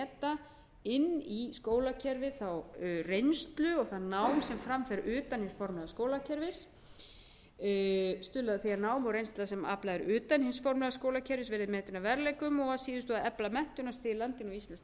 inn í skólakerfið þá reynslu og það nám sem fram fer utan hins formlega skólakerfis g að stuðla að því að nám og reynsla sem aflað er utan hins formlega skólakerfis verði metin að verðleikum og að síðustu h að efla menntunarstig í landinu og íslenskt